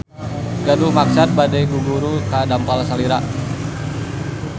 Gaduh maksad bade guguru ka dampal salira.